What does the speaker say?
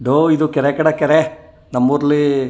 ಡೋ ಇದು ಕೆರೆ ಕಡೆ ಕೆರೆ ನಮ್ಮೂರ್ಲಿ --